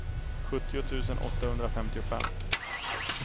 sjuttio tusen åttahundrafemtiofem